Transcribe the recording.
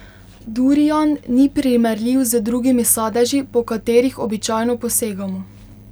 Durian ni primerljiv z drugimi sadeži, po katerih običajno posegamo.